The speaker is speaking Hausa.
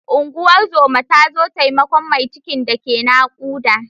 Unguwar zoma ta zo taimakon mai cikin da ke naƙuda.